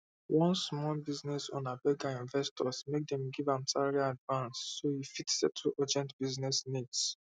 one small business owner beg her investors make dem give am salary advance so e fit settle urgent business needs